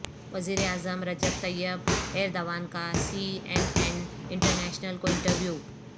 وزیر اعظم Recep Tayyip Erdogan کا سی این این انٹرنیشنل کو انٹرویو